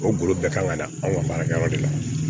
O golo bɛɛ kan ka da an ka baarakɛyɔrɔ de la